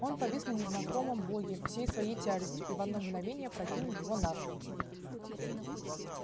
он повис на незнакомом боге всей своей тяжестью и в одно мгновение опрокинул его навзничь